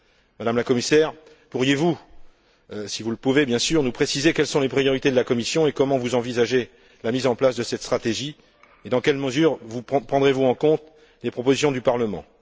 Madame la Commissaire, pourriez vous, si vous le pouvez, bien sûr, nous préciser quelles sont les priorités de la Commission, comment vous envisagez la mise en place de cette stratégie et dans quelle mesure vous tiendrez compte des propositions du Parlement?